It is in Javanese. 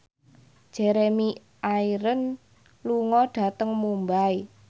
Jeremy Irons lunga dhateng Mumbai